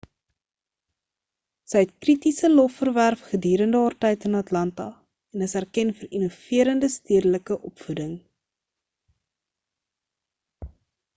sy het kritiese lof verwerf gedurende haar tyd in atlanta en is erken vir innoverende stedelike opvoeding